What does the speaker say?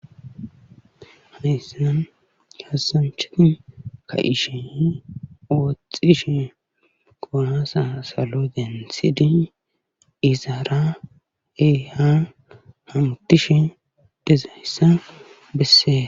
Hayssan kaasanchati ka'ishenne wooxishe kuwaasa salo denthidi izara i han hamutishin woxizayssa besees.